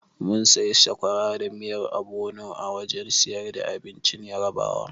Mun sayi sakwara da miyar obono a wajen siyar da abincin Yarabawa.